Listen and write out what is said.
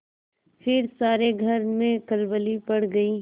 फिर सारे घर में खलबली पड़ गयी